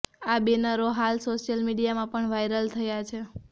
આ બેનરો હાલ સોશિયલ મીડિયામાં પણ વાઈરલ થયા છે